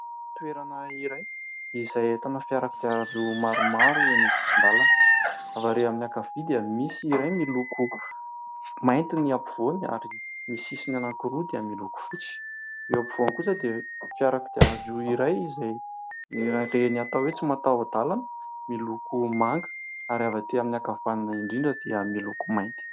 Toerana iray izay ahitana fiara kodiaran-droa maromaro eny amin'ny sisin-dàlana, avy ary amin'ny ankavia dia misy iray miloko mainty ny eo afovoany ary ny sisiny roa dia miloko fotsy, eo afovoany kosa dia fiara kodiaran-droa iray izay, ireny atao hoe tsy mataho-dàlana miloko manga, ary avy aty amin'ny ankavanana indrindra dia miloko mainty.